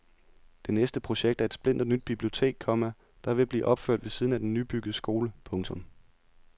Det næste projekt er et splinternyt bibliotek, komma der er ved at blive opført ved siden af den nybyggede skole. punktum